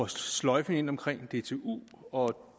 sløjfe ind omkring dtu og